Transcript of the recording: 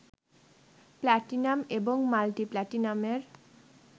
platinum এবং multi প্লাটিনামের